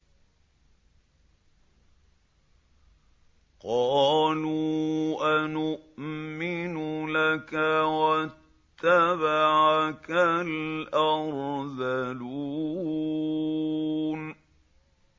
۞ قَالُوا أَنُؤْمِنُ لَكَ وَاتَّبَعَكَ الْأَرْذَلُونَ